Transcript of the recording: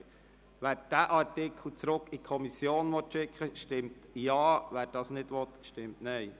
Wer den Artikel zurück in die Kommission schicken will, stimmt Ja, wer dies nicht will, stimmt Nein.